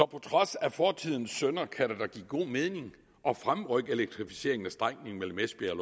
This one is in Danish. på trods af fortidens synder kan det da give god mening at fremrykke elektrificeringen af strækningen mellem esbjerg